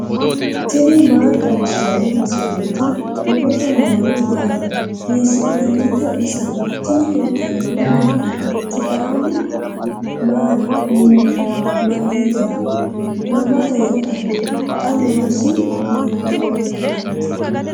tini maa xawissanno misileeti ? mulese noori maati ? hiissinannite ise ? tini kultannori mattiya? Saada mamitte? Mama heedhanno? Xa noosi hiikkotti?